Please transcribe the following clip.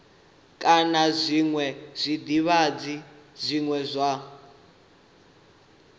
kana zwiṅwe zwidzidzivhadzi zwine zwa